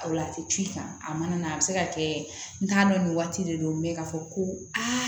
A la a tɛ c'i kan a mana a bɛ se ka kɛ n t'a dɔn nin waati de don mɛ k'a fɔ ko aa